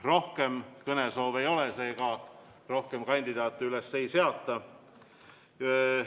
Rohkem kõnesoove ei ole, seega rohkem kandidaate üles ei seata.